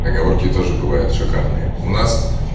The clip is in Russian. поговорки тоже бывает шикарные у нас